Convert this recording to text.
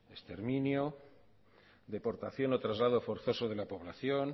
exterminio deportación o traslado forzoso de la población